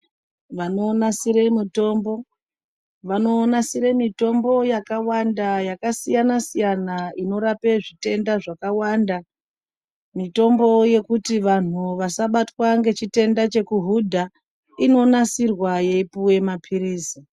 Vanonasire mutombo, vanonasire mitombo yakawanda yakasiyana-siyana inorape zvitenda zvakawanda. Mitombo yekuti vanhu vasabatwa ngechitenda chekuhudha, inonasirwa yeipuwe maphirizi.